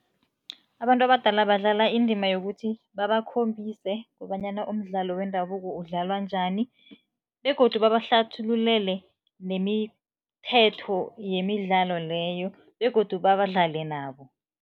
Abantu abadala badlala indima yokuthi babakhombise kobanyana umdlalo wendabuko udlalwa njani begodu babahlathululele nemithetho yemidlalo leyo begodu badlale nabo.